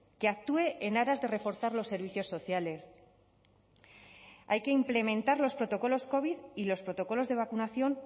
que actúe en aras de reforzar los servicios sociales hay que implementar los protocolos covid y los protocolos de vacunación